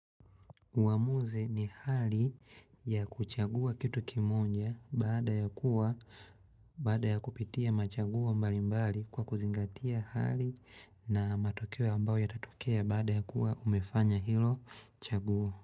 Uamuzi ni hali ya kuchagua kitu kimoja baada ya kuwa baada ya kupitia machagua mbali mbali kwa kuzingatia hali na matokea ambayo yatatokea baada ya kuwa umefanya hilo chaguo.